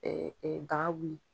Ɛɛ ɛɛ daga wuli